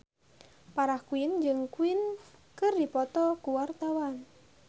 Farah Quinn jeung Queen keur dipoto ku wartawan